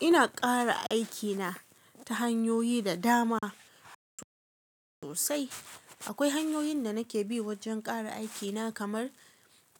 Ina ƙara aikina ta hanyoyi da dama sosai. Akwai hanyoyin da nake bi wajen ƙara aikina kamar